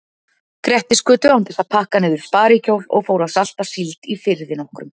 Grettisgötu án þess að pakka niður sparikjól og fór að salta síld í firði nokkrum.